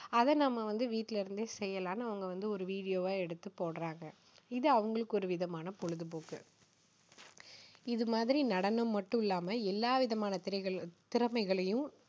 அதை நம்ம வந்து வீட்டிலிருந்தே செய்யலாம்னு அவங்க வந்து ஓரு video வா எடுத்து போடுறாங்க. இது அவங்களுக்கு ஒரு விதமான பொழுதுபோக்கு. இது மாதிரி நடனம் மட்டும் இல்லாம எல்லாவிதமான திறம~திறமைகளையும்